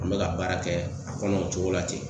An bɛ ka baara kɛ a kɔnɔ o cogo la ten.